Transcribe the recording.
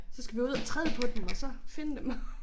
Så skal vi ud at træde på dem og så finde dem